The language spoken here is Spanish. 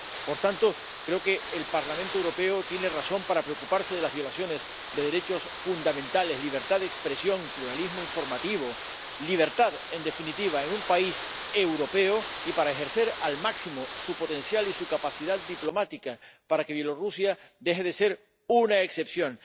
Por tanto, creo que el Parlamento Europeo tiene razones para preocuparse de las violaciones de derechos fundamentales, la libertad de expresión, el pluralismo informativo —de la libertad, en definitiva, en un país europeo—, y para ejercer al máximo su potencial y su capacidad diplomática para que Bielorrusia deje de ser una excepción.